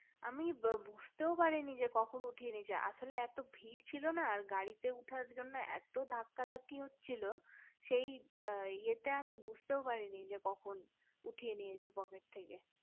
আমি বুজতেও পারিনি যে কখন উঠিয়ে নিয়েছে আসলে এত ভিড় ছিল না আর গাড়িতে উঠার জন্যএত ধাক্কা ধাক্কি হচ্ছিলো সেই ইয়ে তে আমি বুজতেও পাইনি যে কখন উঠিয়ে নিয়েছে পকেট থেকে